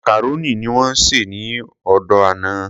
Macaroni ni wón sè ní òde àná.